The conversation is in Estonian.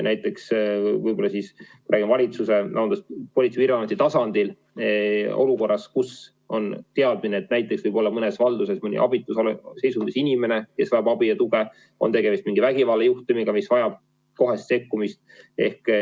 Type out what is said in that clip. Võib-olla me räägime Politsei- ja Piirivalveameti tasandil olukorrast, kus on teadmine, et mõnes valduses võib olla mõni abitus seisundis inimene, kes vajab abi ja tuge, ehk on tegemist mingi vägivallajuhtumiga, mis vajab kohest sekkumist.